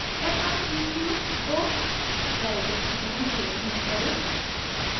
f r e q को variable की तरह प्रयोग न करें